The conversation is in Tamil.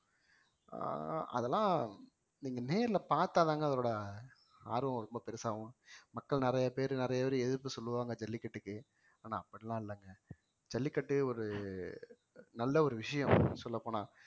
அஹ் அதெல்லாம் நீங்க நேர்ல பார்த்தாதாங்க அதோட ஆர்வம் ரொம்ப பெருசாகும் மக்கள் நிறைய பேர் நிறைய பேரு எதிர்ப்பு சொல்லுவாங்க ஜல்லிக்கட்டுக்கு ஆனா அப்படியெல்லாம் இல்லைங்க ஜல்லிக்கட்டு ஒரு நல்ல ஒரு விஷயம் சொல்லப்போனா